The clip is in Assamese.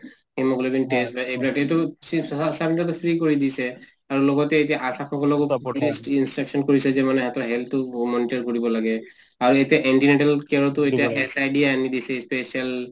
hemoglobin test বা এইবিলাক এইটো sub center ত টো free কৰি দিছে , আৰু লগতে এতিয়া আশা সকলকো instruction কৰিছে যে মানে health টো monitor কৰিব লাগে । আৰু এতিয়া SID আনি দিছে , special